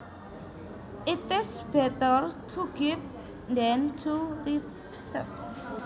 It is better to give than to receive